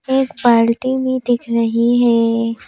एक पार्टी भी दिख रही है।